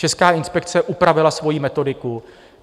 Česká inspekce upravila svoji metodiku.